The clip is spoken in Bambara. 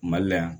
Mali la yan